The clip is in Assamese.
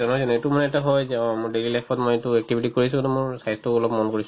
নহয় জানো এইটো মানে এটা হয় যে অ মোৰ daily life ত মই এইটো activity কৰিছো to মোৰ স্বাস্থ্যও অলপ মন কৰিছো